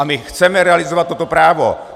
A my chceme realizovat toto právo!